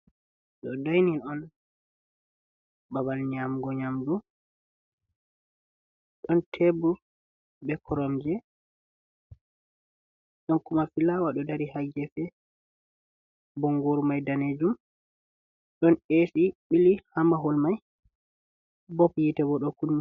Ɗo dainin on babal nyaamgo nyaamdu, ɗon teebur bee koromje, ɗon kuma fulaawa ɗo dari haa gefe, bonngoru mai daneejum, ɗon eesi ɓili haa mahol ma, bob yite boo ɗo kunni.